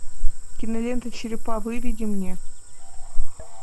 кинолента черепа выведи мне